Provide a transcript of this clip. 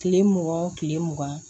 Kile mugan kile mugan